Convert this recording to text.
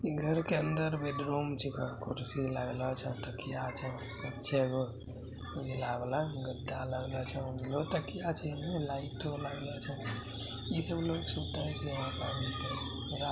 घर के अंदर बेडरूम छीका कुर्सी लागलो छै---